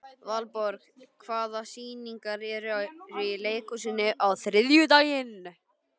Valborg, hvaða sýningar eru í leikhúsinu á þriðjudaginn?